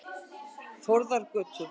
Þórðargötu